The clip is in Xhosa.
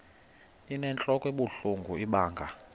inentlok ebuhlungu ibanga